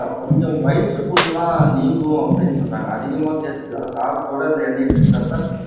கொஞ்சம் வயிற்று புண்ணெல்லாம் நீங்கும் அப்படின்னு சொல்றாங்க அதிகமா சேர்த்து அதாவது சாதத்தோட அந்த எண்ணெயை சேர்த்து சாப்பிட்டா